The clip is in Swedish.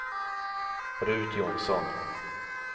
Ruth Jonsson